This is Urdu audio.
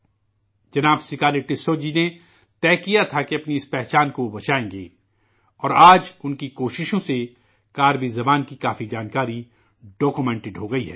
جناب 'سکاری ٹسو' جی نے طے کیا تھا کہ اپنی اس پہچان کو وہ بچائیں گے ، اور آج ان کی کوششوں سے کربی زبان کی کافی جانکاری دستاویز کی شکل میں تیار ہوگئی ہے